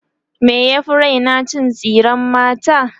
me ya Fi Raina cin tsiran mata